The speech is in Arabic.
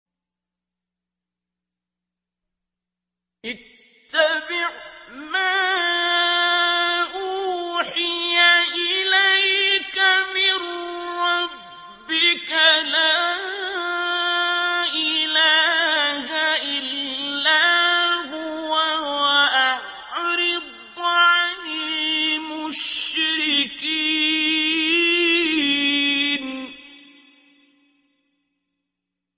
اتَّبِعْ مَا أُوحِيَ إِلَيْكَ مِن رَّبِّكَ ۖ لَا إِلَٰهَ إِلَّا هُوَ ۖ وَأَعْرِضْ عَنِ الْمُشْرِكِينَ